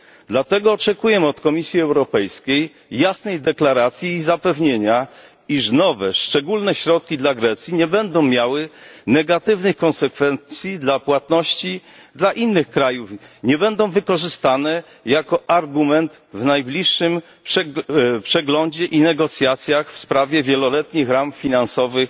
Dlatego oczekujemy od Komisji Europejskiej jasnej deklaracji i zapewnienia, iż nowe, szczególne środki dla Grecji nie będą miały negatywnych konsekwencji dla płatności dla innych krajów, nie będą wykorzystane jako argument w najbliższym przeglądzie i negocjacjach w sprawie wieloletnich ram finansowych